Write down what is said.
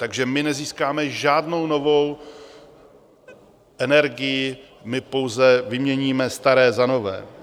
Takže my nezískáme žádnou novou energii, my pouze vyměníme staré za nové.